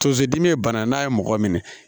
Tozodimi ye bana n'a ye mɔgɔ minɛ